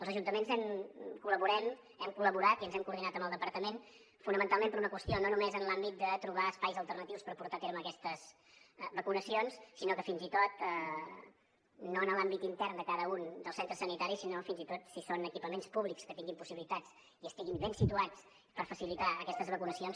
els ajuntaments col·laborem hem col·laborat i ens hem coordinat amb el departament fonamentalment per una qüestió no només en l’àmbit de trobar espais alternatius per portar a terme aquestes vacunacions no en l’àmbit intern de cada un dels centres sanitaris sinó fins i tot si són equipaments públics que tinguin possibilitats i estiguin ben situats per facilitar aquestes vacunacions